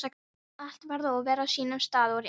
Allt varð að vera á sínum stað og rétt.